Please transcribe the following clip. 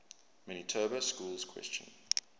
manitoba schools question